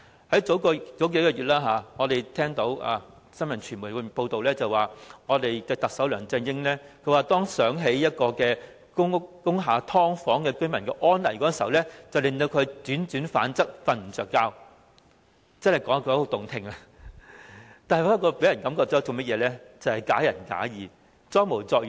數月前，我們聽到傳媒報道，指特首梁振英說當想起工廈"劏房"居民的安危時，令他輾轉反側，無法入眠，說得很動聽，但給人的感覺卻是"假仁假義、裝模作樣"。